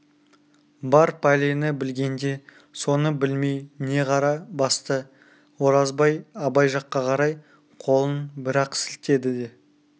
бар пәлені білгенде соны білмей не қара басты оразбай абай жаққа қарай қолын бір-ақ сілтеді де